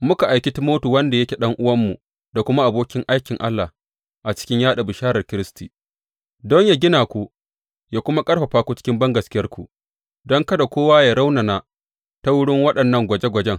Muka aiki Timoti, wanda yake ɗan’uwanmu da kuma abokin aikin Allah a cikin yaɗa bisharar Kiristi, don yă gina ku yă kuma ƙarfafa ku cikin bangaskiyarku, don kada kowa yă raunana ta wurin waɗannan gwaje gwajen.